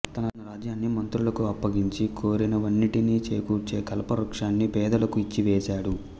తన రాజ్యాన్ని మంత్రులకు అప్పగించి కోరినవన్నింటినీ చేకూర్చే కల్పవృక్షన్ని పేదలకు ఇచ్చివేశాడు